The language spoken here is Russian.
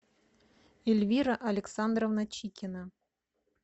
эльвира александровна чикина